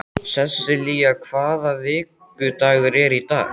Sessilía, hvaða vikudagur er í dag?